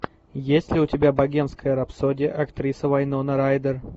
есть ли у тебя богемская рапсодия актриса вайнона райдер